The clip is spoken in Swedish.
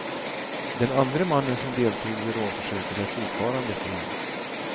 Den andre mannen som deltog vid rånförsöket är fortfarande fri.